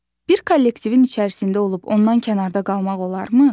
Bir kollektivin içərisində olub ondan kənarda qalmaq olarmı?